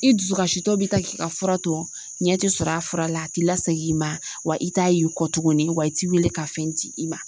I dusukasi tɔ be taa k'i ka fura to, ɲɛ te sɔrɔ a fura la a t'i lasegi i ma wa i t'a y'i kɔ tuguni wa i t'i wele ka fɛn di i ma.